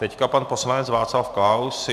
Teď pan poslanec Václav Klaus.